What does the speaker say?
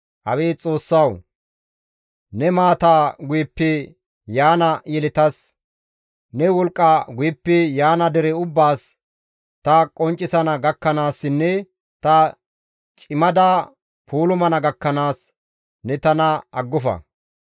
Abeet Xoossawu! Ne maataa guyeppe yaana yeletas, ne wolqqa guyeppe yaana dere ubbaas, ta qonccisana gakkanaassinne ta cimada puulumana gakkanaas ne tana aggofa.